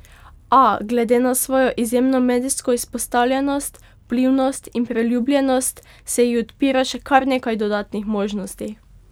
A, glede na svojo izjemno medijsko izpostavljenost, vplivnost in priljubljenost se ji odpira še kar nekaj dodatnih možnosti.